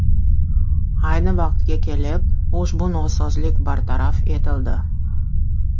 Ayni vaqtga kelib, ushbu nosozlik bartaraf etildi.